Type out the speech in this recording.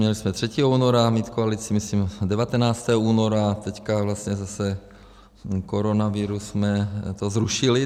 Měli jsme 3. února mít koalici, myslím 19. února, teď vlastně zase koronavirus, jsme to zrušili.